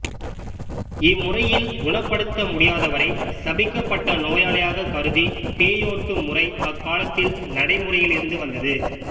இம்முறையில் குணப்படுத்த முடியாதவரைச் சபிக்கப்பட்ட நோயாளியாகக் கருதி பேயோட்டும் முறை அக்காலத்தில் நடைமுறையிலிருந்து வந்தது